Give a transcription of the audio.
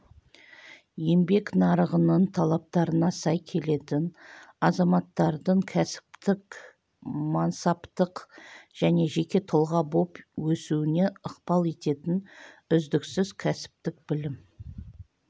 еңбек нарығының талаптарына сай келетін азаматтардың кәсіптік мансаптық және жеке тұлға боп өсуіне ықпал ететін үздіксіз кәсіптік білім